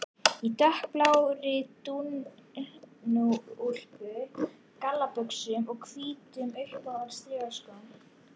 Í dökkblárri dúnúlpu, gallabuxum og hvítum, uppháum strigaskóm.